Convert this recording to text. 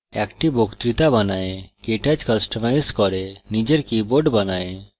একটি বক্তৃতা বানায় কেটচ কস্টমাইজ করে নিজের keyboard বানায়